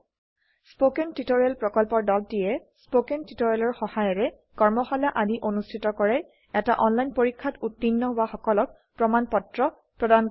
spoken tutorial প্ৰকল্পৰ দলটিয়ে spoken টিওটৰিয়েলৰ সহায়েৰে কৰ্মশালা আদি অনুষ্ঠিত কৰে এটা অনলাইন পৰীক্ষাত উত্তীৰ্ণ হোৱা সকলক প্ৰমাণ পত্ৰ প্ৰদান কৰে